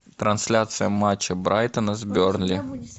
трансляция матча брайтона с бернли